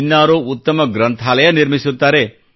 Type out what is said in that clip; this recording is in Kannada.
ಇನ್ನಾರೋ ಉತ್ತಮ ಗ್ರಂಥಾಲಯ ನಿರ್ಮಿಸುತ್ತಾರೆ